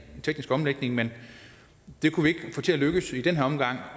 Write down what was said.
teknisk omlægning men det kunne vi ikke få til at lykkes i den her omgang